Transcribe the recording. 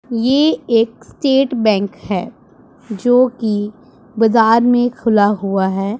ये एक state bank है जो की बजार में खुला हुआ है।